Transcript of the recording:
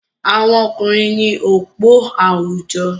Àwọn ọkùnrin ní òpó àwùjọ.